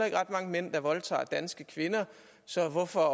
er ret mange mænd der voldtager danske kvinder så hvorfor